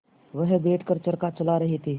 वह बैठ कर चरखा चला रहे थे